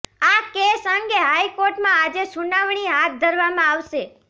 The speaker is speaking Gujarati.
આ કેસ અંગે હાઇકોર્ટમાં આજે સુનાવણી હાથ ધરવામાં આવશે